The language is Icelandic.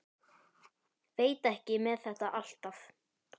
Veit ekki með þetta alltaf.